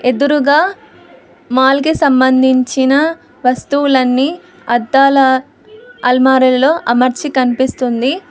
ఎదురుగా మాల్ కి సంబంధించిన వస్తువులన్నీ అద్దాల అల్మారాల్లో అమర్చి కనిపిస్తుంది.